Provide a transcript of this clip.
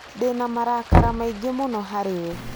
Ndĩ na marakara maingĩ mũno harĩ we